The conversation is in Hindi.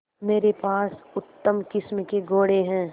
मेरे पास उत्तम किस्म के घोड़े हैं